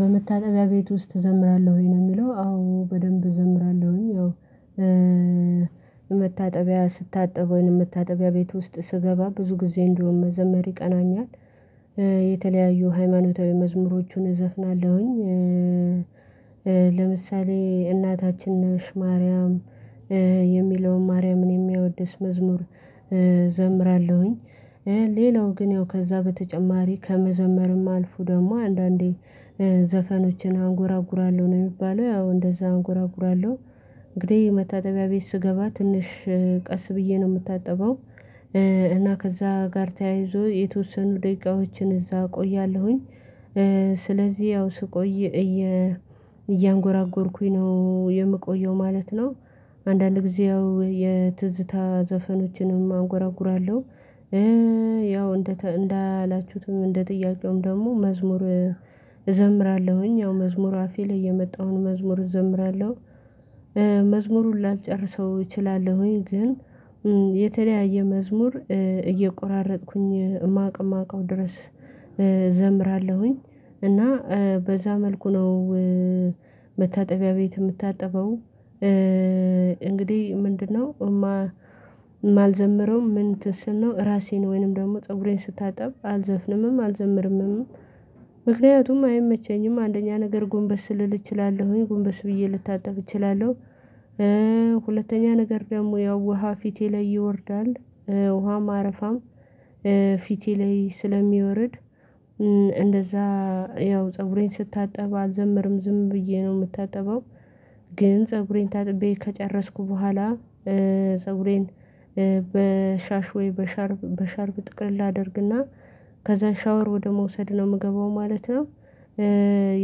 በመታጠቢያ ቤት ውስጥ ትዘምራለሁ ወይ ነው የሚለው አዎ በደንብ እዘምራለሁኝ። አዎ መታጠቢያ ስታጠብ ወይንም መታጠቢያ ቤት ውስጥ ስገባ ብዙ ጊዜ እንደውም መዘመር ይቀናኛል። የተለያዩ ሃይማኖታዊ መዝሙሮቹን እዘፍናለሁኝ ለምሳሌ እናታችን ነሽ ማርያም የሚለውን ማርያምን የሚያወድስ መዝሙር እዘምራለሁኝ። ሌላው ግን ያው ከዛ በተጨማሪ ከመዘመርም አልፉ ደግሞ አንዳንዴ ዘፈኖችን አንጎራጉራለሁ ነው የሚባለው ያው እንደዛ አንጎራጉራለሁ። እንግዲህ መታጠቢያ ቤት ስገባ ትንሽ ቀስ ብዬ ነው የምታጠበው። እና ከዛ ጋር ተያይዞ የተወሰኑ ደቂቃዎችን እዛ እቆያለሁኝ። ስለዚህ ያው ስቆይ እያንጎራጎርኩኝ ነው የምቆየው ማለት ነው። አንዳንድ ጊዜ ያው የትዝታ ዘፈኖችንም አጎራጉራለሁ። ያው እንደ እንደ አላችሁትም እንደ ጥያቄውም ደግሞ መዝሙር እዘምራለሁኝ ያው መዝሙር አፌ ላይ የመጣውን መዝሙር እዘምራለሁ። መዝሙሩን ላልጨርሰው እችላለሁኝ ግን የተለያየ መዝሙር እየቆራረጥኩኝ የማውቅ የማውቀው ድረስ እዘምራለሁኝ እና በዛ መልኩ ነው። መታጠቢያ ቤት የምታጠበው። እንግዲህ ምንድነው የማልዘምረው ምን ትስል ነው ራሴን ወይንም ደግሞ ፀጉሬን ስታጠብ አልዘፍንምም አልዘምርምም። ምክንያቱም አይመቸኝም አንደኛ ነገር ጎንበስ ልል እችላለሁኝ ጎንበስ ብዬ ልታጠብ እችላለሁ። ሁለተኛ ነገር ደግሞ ያው ውሃ ፊቴ ላይ ይወርዳል ውሃም አረፋም ፊቴ ላይ ስለሚወርድ እንደዛ ያው ፀጉሬን ስታጠብ አልዘምርም ዝም ብዬ ነው የምታጠበው። ግን ፀጉሬን ታጥቤ ከጨረስኩ በኋላ ፀጉሬን በሻሽ ወይ ወይ በሻርፕ በሻርፕ ጥቅልል አደርግና ከዛ ሻወር ወደ መውሰድ ነው የምገባው ማለት ነው።